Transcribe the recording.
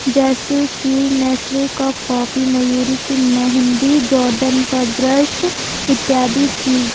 जैसे की नेस्ले की कॉफी मयूरी की मेहंदी जॉर्डन का ब्रश इत्यादि चीजे।